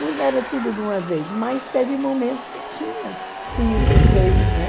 Não era tudo de uma vez, mas teve momentos que tinha cinco, seis, né?